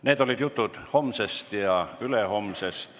Need olid jutud homsest ja ülehomsest.